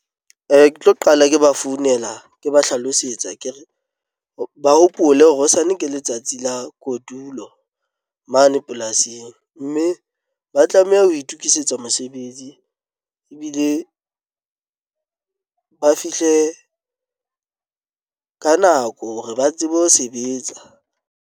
Ke tlo qala ke ba founela, ke ba hlalosetsa ke re ba hopole hore hosane ke letsatsi la kotulo mane polasing mme ba tlameha ho itukisetsa mosebetsi ebile ba fihle ka nako hore ba tsebe ho sebetsa.